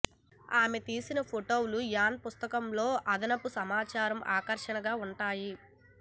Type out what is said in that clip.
ఆమె తీసిన ఫోటోలు యాన్ పుస్తకంలో అదనపు సమాచారం ఆకర్షణగా ఉంటాయి